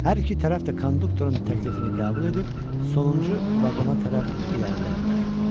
Hər iki tərəf də konduktorun təklifini qəbul edib sonuncu vaqona tərəf irəlilədilər.